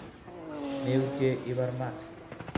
Meutie ibar mat